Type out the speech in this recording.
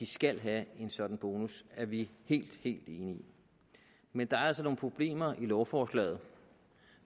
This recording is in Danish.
skal have en sådan bonus er vi helt helt enige i men der er altså nogle problemer i lovforslaget